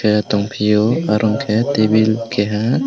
ahh tongpio aro unke tabil keha.